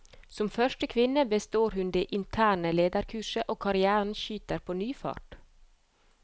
Som første kvinne består hun det interne lederkurset, og karrièren skyter på ny fart.